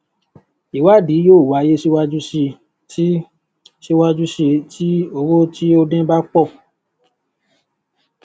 ìwádìí yóó wáyé síwájú síi tí síwájú síi tí owó tí ó dún bá pò